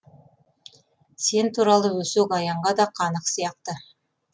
сен туралы өсек аяңға да қанық сияқты